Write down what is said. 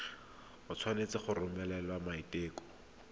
o tshwanetse go romela maiteko